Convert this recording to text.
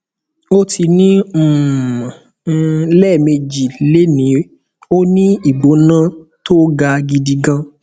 ó ti ní um i lẹẹmejì lénìí ó ní ìgbóna tó ga gidi gan